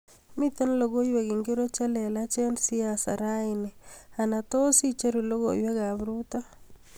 Miten logoiwek ingiro chelelach eng siaset raini anatoo tos icheru logoiwekab ruto